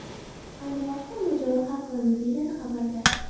Ayni vaqtda mojaro hal qilindi”, deyiladi xabarda.